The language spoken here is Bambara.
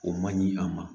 O man ɲi a ma